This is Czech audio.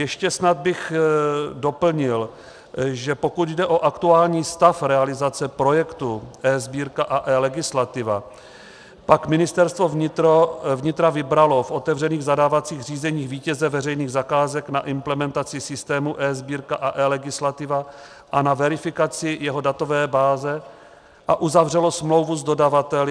Ještě snad bych doplnil, že pokud jde o aktuální stav realizace projektu eSbírka a eLegislativa, pak Ministerstvo vnitra vybralo v otevřených zadávacích řízeních vítěze veřejných zakázek na implementaci systému eSbírka a eLegislativa a na verifikaci jeho datové báze a uzavřelo smlouvu s dodavateli.